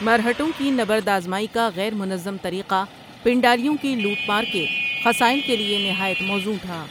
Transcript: مرہٹوں کی نبردآزمائی کا غیر منظم طریقہ پنڈاریوں کی لوٹ مار کے خصائل کے لیے نہایت موزوں تھا ۔